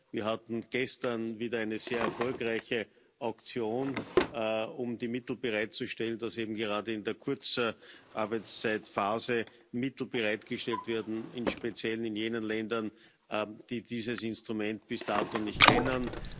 Wir hatten gestern wieder eine sehr erfolgreiche Auktion, um die Mittel bereitzustellen, damit eben gerade in der Kurzarbeitszeitphase Mittel bereitgestellt werden, im Speziellen in jenen Ländern, die dieses Instrument bis dato nicht kennen.